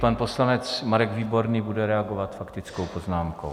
Pan poslanec Marek Výborný bude reagovat faktickou poznámkou.